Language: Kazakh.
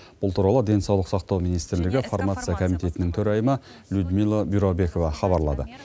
бұл туралы денсаулық сақтау министрлігі фармация комитетінің төрайымы людмила бюрабекова хабарлады